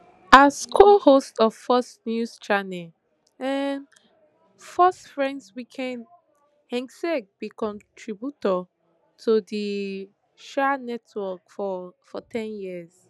as cohost of fox news channel um fox friends weekend hegseth be contributor to to di um network for for ten years